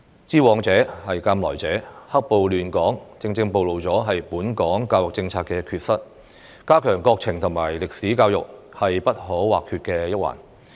知往事，鑒來者，"黑暴"亂港，正正暴露本港教育政策的缺失，加強國情和歷史教育是不可或缺的一環。